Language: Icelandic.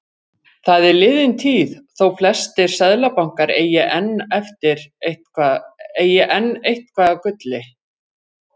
Það er liðin tíð þótt flestir seðlabankar eigi enn eitthvað af gulli.